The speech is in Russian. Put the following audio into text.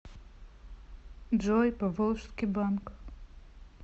джой поволжский банк